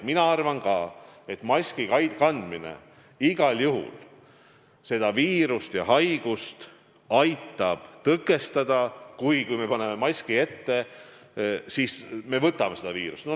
Mina arvan ka, et maski kandmine aitab igal juhul seda viirust ja haigust tõkestada, kuid kui me paneme maski ette, siis me võtame seda viirust.